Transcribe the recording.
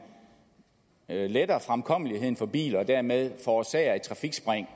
letter fremkommeligheden for biler og dermed forårsager et trafikspring